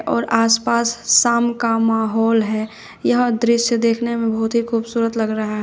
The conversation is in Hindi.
और आसपास शाम का माहौल है यह दृश्य देखने में बहुत ही खूबसूरत लग रहा है।